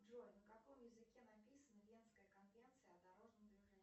джой на каком языке написана венская конвенция о дорожном движении